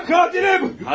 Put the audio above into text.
Mən qatiləm!